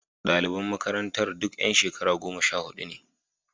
Daliban makarantar duk yan shekara goma sha hudu ne.